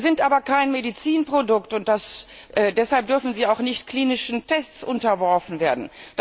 Sie sind aber kein Medizinprodukt, und deshalb dürfen sie auch nicht klinischen Tests unterworfen werden.